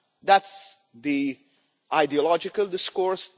That is the ideological discourse.